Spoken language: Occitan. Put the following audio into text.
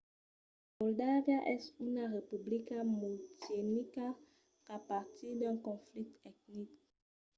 moldàvia es una republica multietnica qu'a patit d'un conflicte etnic